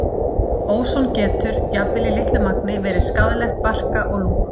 Óson getur, jafnvel í litlu magni, verið skaðlegt barka og lungum.